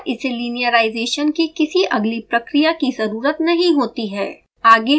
इसके आलावा इसे linearization की किसी अगली प्रक्रिया की ज़रुरत नहीं होती है